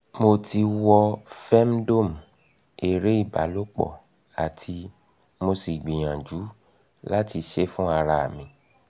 mo ti wo femdome ere ibalopo ati mo si gbiyanju lati se e fun ara mi